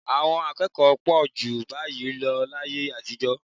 Àwọn kòkòrò pọ̀ jù báyìí lọ láyé àtijọ́